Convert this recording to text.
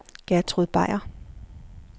Gertrud Beyer